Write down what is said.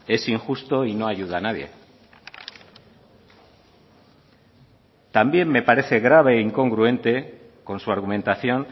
es injusto y no ayuda a nadie también me parece grave e incongruente con su argumentación